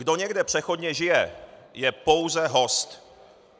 Kdo někde přechodně žije, je pouze host.